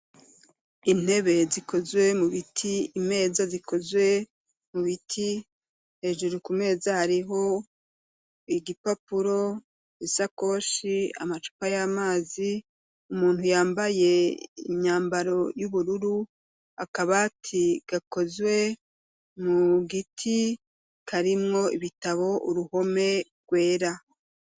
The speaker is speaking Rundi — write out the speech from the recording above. Intebe, zikozwe mu biti, imeza zikozwe mu biti; hejuru ku meza, hariho igipapuro, isakoshi, amacupa y'amazi; umuntu yambaye, imyambaro y'ubururu; akabati, gakozwe mu giti, karimwo ibitabo; uruhome rwera.